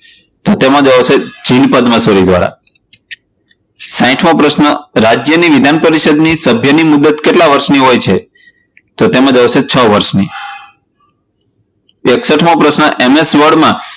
તો તેમાં જવાબ આવશે શ્રી પદ્મશ્રી દ્વારા સાહીઠ મો પ્રશ્ન રાજ્યની વિધાન પરિષદ ની સભ્યની મુદ્દત કેટલા વર્ષની હોય છે? તો તેમાં જવાબ આવશે છ વર્ષની એકસઠ મો પ્રશ્ન word માં